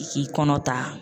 I k'i kɔnɔ ta